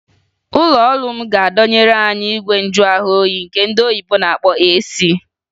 Ụlọọrụ m ga-adọnyeru anyị igwe njuahụoyi nke ndị oyibo na-akpọ AC